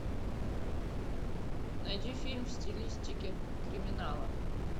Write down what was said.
найди фильм в стилистике криминала